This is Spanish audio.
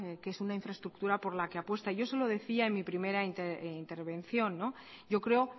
que es una infraestructura por la que apuesta yo se lo decía en mi primera intervención yo creo